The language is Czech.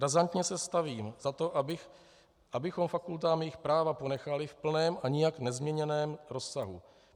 Razantně se stavím za to, abychom fakultám jejich práva ponechali v plném a nijak nezměněném rozsahu.